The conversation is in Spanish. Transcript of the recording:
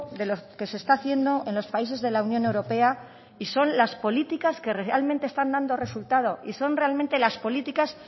de lo que se está haciendo en los países de la unión europea y son las políticas que realmente están dando resultado y son realmente las políticas